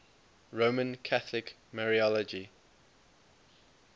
roman catholic mariology